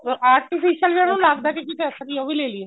artificial ਜਿਹੜਾ ਲੱਗਦਾ ਅਸਲੀ ਉਹ ਵੀ ਲੈ ਲਈਏ